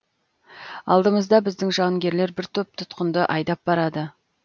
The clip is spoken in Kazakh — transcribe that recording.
алдымызда біздің жауынгерлер бір топ тұтқынды айдап барады